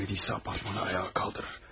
Əgər ölmədisə, apartmanı ayağa qaldırır.